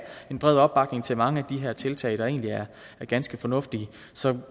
en bred opbakning til mange af de her tiltag der egentlig er ganske fornuftige så